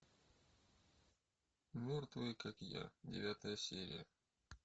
мертвые как я девятая серия